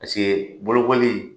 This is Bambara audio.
bolokoli